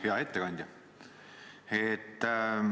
Hea ettekandja!